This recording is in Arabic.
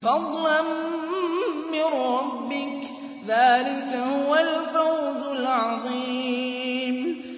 فَضْلًا مِّن رَّبِّكَ ۚ ذَٰلِكَ هُوَ الْفَوْزُ الْعَظِيمُ